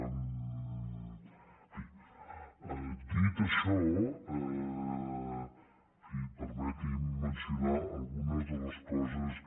en fi dit això permeti’m mencionar algunes de les coses que